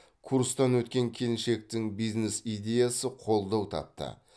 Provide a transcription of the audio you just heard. курстан өткен келіншектің бизнес идеясы қолдау тапты